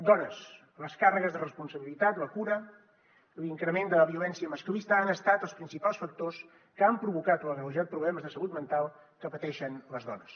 dones les càrregues de responsabilitat la cura i l’increment de la violència masclista han estat els principals factors que han provocat o agreujat problemes de salut mental que pateixen les dones